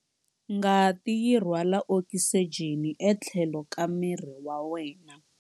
Ngati yi rhwala okisijeni etlhelo ka miri wa wena.